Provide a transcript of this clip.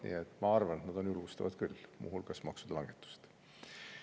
Nii et ma arvan, et need on julgustavad, muu hulgas maksude langetused.